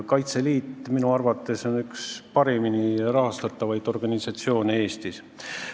Kaitseliit on minu arvates üks paremini rahastatavaid organisatsioone Eestis.